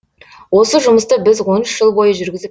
осы жұмысты біз он үш жыл бойы жүргізіп